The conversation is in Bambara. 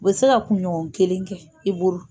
Bɛ se ka kunɲɔgɔn kelen k'i bolo.